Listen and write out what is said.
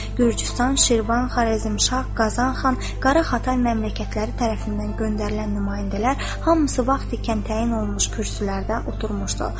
Gürcüstan, Şirvan, Xarəzmşah, Qazanxan, Qara Xatay məmləkətləri tərəfindən göndərilən nümayəndələr hamısı vaxt ikən təyin olunmuş kürsülərdə oturmuşdu.